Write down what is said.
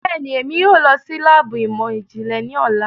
Bẹẹni, Emi yoo lọ si laabu imọ-jinlẹ ni ọla